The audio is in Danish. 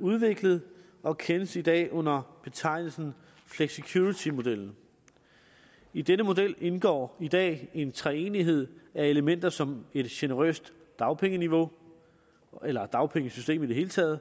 udviklet og kendes i dag under betegnelsen flexicuritymodellen i denne model indgår i dag en treenighed af elementer som et generøst dagpengeniveau eller dagpengesystem i det hele taget